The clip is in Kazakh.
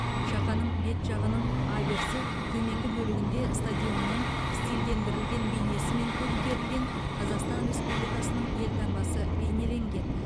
шақаның бет жағының аверсі төменгі бөлігінде стадионның стильдендірілген бейнесімен көмкерілген қазақстан республикасының елтаңбасы бейнеленген